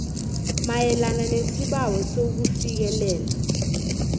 mayelana nesibawo sokufikelela